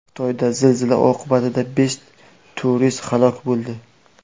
Xitoyda zilzila oqibatida besh turist halok bo‘ldi.